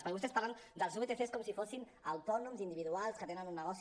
perquè vostès ens parlen dels vtc com si fossin autònoms individuals que tenen un negoci